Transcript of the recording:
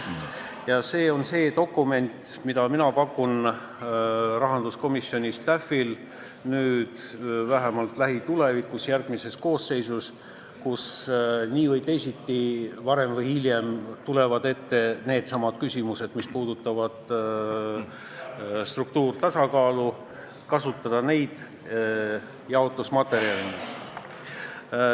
See on see dokument, mida rahanduskomisjoni staff võiks minu arvates vähemalt lähitulevikus, järgmises koosseisus, kus nii või teisiti tulevad varem või hiljem ette needsamad küsimused, mis puudutavad struktuurset tasakaalu, kasutada jaotusmaterjalina.